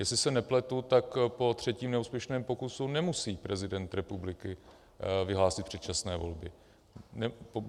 Jestli se nepletu, tak po třetím neúspěšném pokusu nemusí prezident republiky vyhlásit předčasné volby.